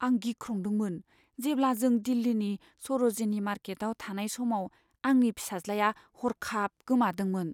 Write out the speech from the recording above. आं गिख्रंदोंमोन जेब्ला जों दिल्लीनि सर'जिनी मार्केटआव थानाय समाव आंनि फिसाज्लाया हरखाब गोमादोंमोन।